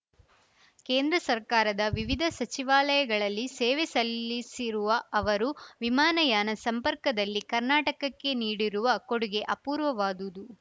ಕೇಂದ್ರ ಸರ್ಕಾರದ ವಿವಿಧ ಸಚಿವಾಲಯಗಳಲ್ಲಿ ಸೇವೆ ಸಲ್ಲಿಸಿರುವ ಅವರು ವಿಮಾನಯಾನ ಸಂಪರ್ಕದಲ್ಲಿ ಕರ್ನಾಟಕ್ಕೆ ನೀಡಿರುವ ಕೊಡುಗೆ ಅಪೂರ್ವವಾದುದು